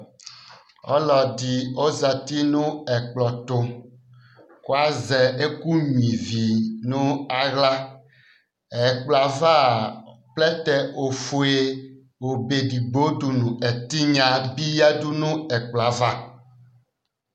Ɔlɔdɩ ɔzati nʋ ɛkplɔ tʋ kʋ azɛ ɛkʋnyuǝ ivi nʋ aɣla Ɛkplɔ yɛ ava a, plɛtɛ ofue obe edigbo nʋ ɛtɩnya bɩ yǝdu nʋ ɛkplɔ yɛ ava